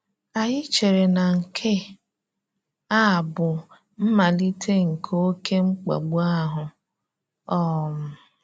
Ànyí chèrè na nke a bụ mmalite nke oké mkpàgbu ahụ. um